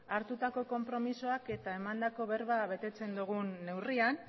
hartutako konpromisoak eta emandako berba betetzen dogun neurrian